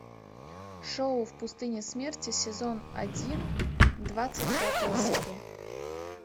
шоу в пустыне смерти сезон один двадцать пятая серия